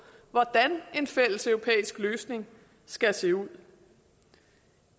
hvordan en fælles europæisk løsning skal se ud